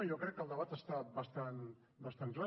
jo crec que el debat està bastant clar